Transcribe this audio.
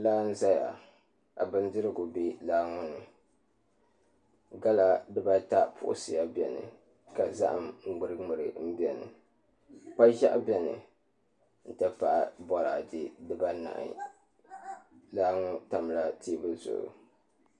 Laa n ʒɛya ka bindirigu bɛ laa ŋo ni gala dibata puɣusiya bɛni ka zaham ŋmuri ŋmuri bɛni kpa ʒiɛɣu bɛni n ti pahi boraadɛ dibanahi laa ŋo tamla teebuli zuɣu